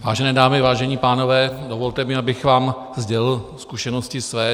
Vážené dámy, vážení pánové, dovolte mi, abych vám sdělil zkušenosti své.